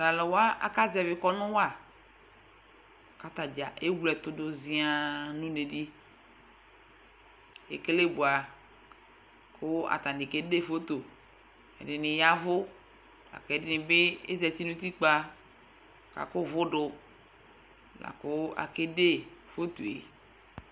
Tʋ alʋ wa akazɛvɩ kɔnʋ wa kʋ ata dza ewle ɛtʋ dʋ zɩaŋ nʋ une dɩ kʋ ekele bʋa kʋ atanɩ kede foto Ɛdɩnɩ ya ɛvʋ la kʋ ɛdɩnɩ azati nʋ utikpa kʋ akɔ ʋvʋ dʋ la kʋ akede foto yɛ